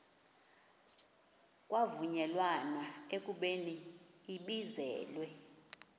kwavunyelwana ekubeni ibizelwe